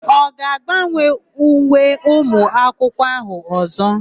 Ọ ga-agbanwe uwe ụmụakwụkwọ áhụ̀ ọ̀zọ́?